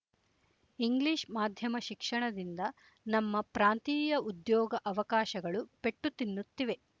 English ಮಾಧ್ಯಮ ಶಿಕ್ಷಣದಿಂದ ನಮ್ಮ ಪ್ರಾಂತೀಯ ಉದ್ಯೋಗ ಅವಕಾಶಗಳು ಪೆಟ್ಟು ತಿನ್ನುತ್ತಿವೆ